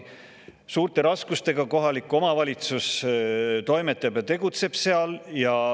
Suurte raskustega seal kohalik omavalitsus toimetab ja tegutseb.